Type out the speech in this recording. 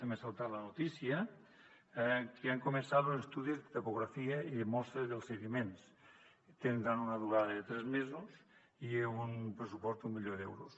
també ha saltat la notícia que han començat los estudis de topografia i de mostra dels sediments tindran una durada de tres mesos i un pressupost d’un milió d’euros